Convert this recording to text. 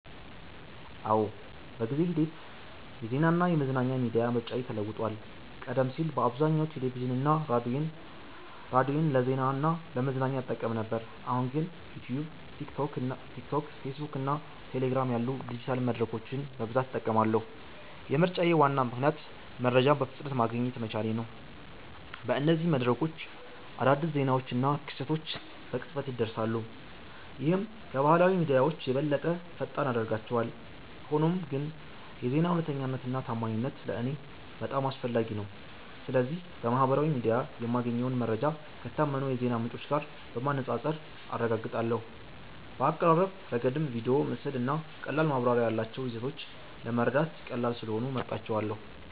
አዎ፣ በጊዜ ሂደት የዜናና የመዝናኛ ሚዲያ ምርጫዬ ተለውጧል። ቀደም ሲል በአብዛኛው ቴሌቪዥንና ሬዲዮን ለዜና እና ለመዝናኛ እጠቀም ነበር፣ አሁን ግን ዩትዩብ፣ ቲክቶክ፣ ፌስቡክ እና ቴሌግራም ያሉ ዲጂታል መድረኮችን በብዛት እጠቀማለሁ። የምርጫዬ ዋና ምክንያት መረጃን በፍጥነት ማግኘት መቻሌ ነው። በእነዚህ መድረኮች አዳዲስ ዜናዎችና ክስተቶች በቅጽበት ይደርሳሉ፣ ይህም ከባህላዊ ሚዲያዎች የበለጠ ፈጣን ያደርጋቸዋል። ሆኖም ግን የዜና እውነተኛነትና ታማኝነት ለእኔ በጣም አስፈላጊ ነው። ስለዚህ በማህበራዊ ሚዲያ የማገኘውን መረጃ ከታመኑ የዜና ምንጮች ጋር በማነጻጸር አረጋግጣለሁ። በአቀራረብ ረገድም ቪዲዮ፣ ምስል እና ቀላል ማብራሪያ ያላቸው ይዘቶች ለመረዳት ቀላል ስለሆኑ እመርጣቸዋለ